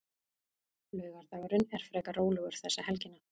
Laugardagurinn er frekar rólegur þessa helgina.